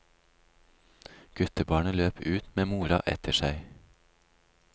Guttebarnet løp ut med mora etter seg.